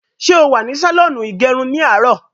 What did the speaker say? Ṣé o wà ní sàlọ́ọ̀nù ìgẹrun ní àárò?